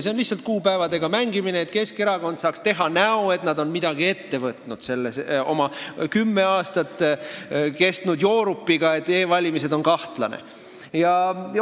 See on lihtsalt kuupäevadega mängimine, et Keskerakond saaks teha näo, et nad on midagi ette võtnud selle oma kümme aastat kestnud joorupiga, et e-valimised on kahtlane süsteem.